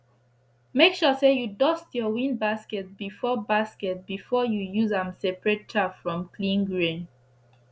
make sure say u dust ur wind basket before basket before u use am separate chaff from clean grain